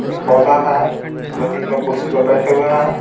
एक पौधा है दो-तीन लोग कुर्सी पे बैठे हुए हैं.